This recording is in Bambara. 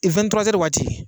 E wɛ ni tura zɛri waati